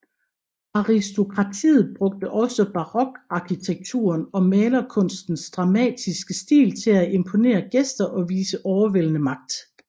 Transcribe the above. Aristokratiet brugte også barokarkitekturen og malerkunstens dramatiske stil til at imponere gæster og vise overvældende magt